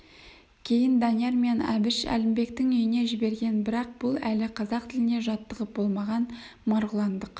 кейін данияр мен әбіш әлімбектің үйіне жіберген бірақ бұл әлі қазақ тіліне жаттығып болмаған марғұландық